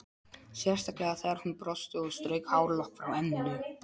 Sérstaklega þegar hún brosti og strauk hárlokk frá enninu.